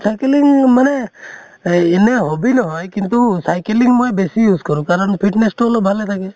cycling মানে এই এনে hobbies নহয় কিন্তু cycling মই বেছি use কৰোঁ কাৰণ fitness তো অলপ ভালে থাকে